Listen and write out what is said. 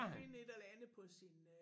Finde et eller andet på sin øh